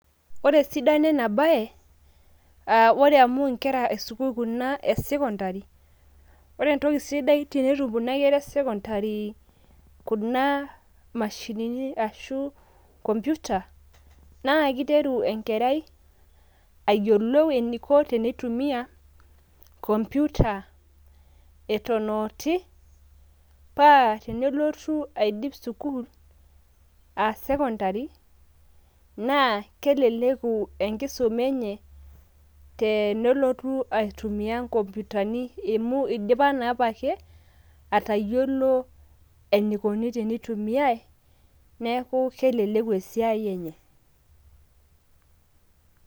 Ore esidano ena bae, ore amu inkera esukuul kuna e secondary, ore entoki sidai tenetum kuna kera e secondary kuna mashinini ashu computer, naa keiteru enkerai ayiolou eneiko teneitumia computer eton a otii, paa tenelotu aidip sukuul aa secondary, naa keleleku enkisoma enye tenelotu aitumia ikomputani amu eidipa naa apake atayolou eneikuni teneitumiai, neaku keleleku esiai enye.